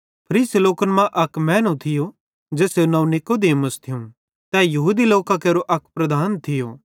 फरीसी लोकन मां अक मैनू थियो ज़ेसेरू नवं नीकुदेमुस थियूं तै यहूदी लोकां केरो अक लीडर थियो